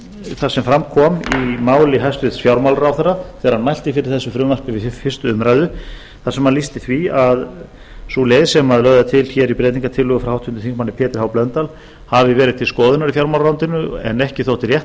það sem fram kom í máli hæstvirts fjármálaráðherra þegar hann mælti fyrir þessu frumvarpi við fyrstu umræðu þar sem hann lýsti því að sú leið sem er lögð til í breytingartillögu frá háttvirtum þingmanni pétri h blöndal hafi verið til skoðunar í fjármálaráðuneytinu en ekki þótti rétt